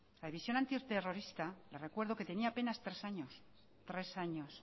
la división antiterrorista le recuerdo que tenía apenas tres años